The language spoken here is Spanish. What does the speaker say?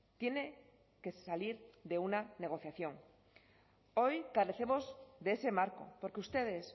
tiene que salir de una negociación hoy carecemos de ese marco porque ustedes